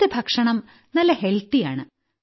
അവിടുത്തെ ഭക്ഷണം നല്ല ഹെൽത്തി ആണ്